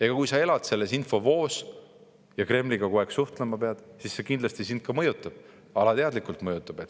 Aga kui sa elad selles infovoos ja pead kogu aeg Kremliga suhtlema, siis see kindlasti sind mõjutab, alateadlikult mõjutab.